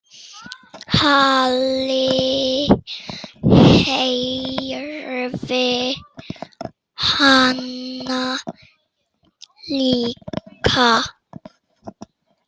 Halli heyrði hana líka.